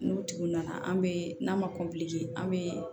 N'o tigi nana an bɛ n'a ma an bɛ